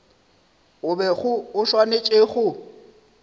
o bego o swanetše go